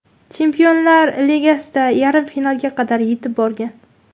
Chempionlar Ligasida yarim finalga qadar yetib borgan.